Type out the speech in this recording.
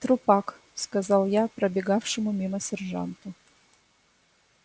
трупак сказал я пробегавшему мимо сержанту